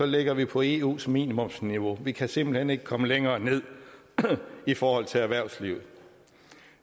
ligger vi på eus minimumsniveau vi kan simpelt hen ikke komme længere ned i forhold til erhvervslivet